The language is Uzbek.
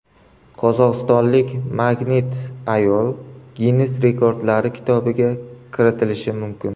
Qozog‘istonlik magnit-ayol Ginnes rekordlari kitobiga kirishi mumkin.